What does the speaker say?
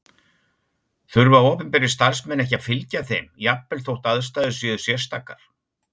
Þurfa opinberir starfsmenn ekki að fylgja þeim jafnvel þótt aðstæður séu sérstakar?